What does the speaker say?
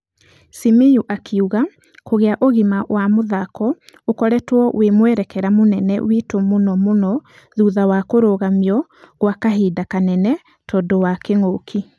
Simiyu akĩuga kũgia ũgima wa mũthako ũkoretwo wĩ mwĩrekera mũnene witũ mũno mũno thutha wa kũrũgamiokwakahinda kanene tũndũ wa kĩng'uki.